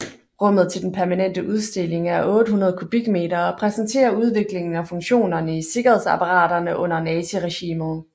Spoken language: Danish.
Rummet til den permanente udstilling er 800 kubikmeter og præsenterer udviklingen og funktionerne i sikkerhedsapparaterne under naziregimet